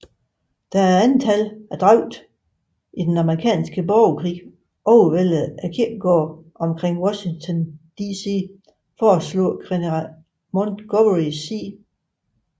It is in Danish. Da antallet af dræbte i den Amerikanske Borgerkrig overvældede kirkegårdene omkring Washington DC foreslog general Montgomery C